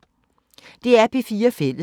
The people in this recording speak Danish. DR P4 Fælles